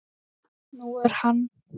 Nú er hann